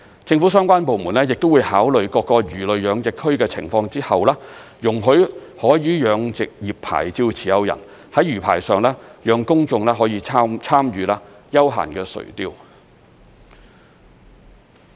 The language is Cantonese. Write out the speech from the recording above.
政府相關部門亦會在考慮各個魚類養殖區的情況後，容許海魚養殖業牌照持有人在魚排上讓公眾可以參與休閒垂釣。